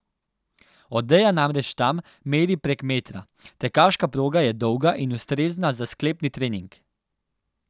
Odeja namreč tam meri prek metra, tekaška proga je dolga in ustrezna za sklepni trening.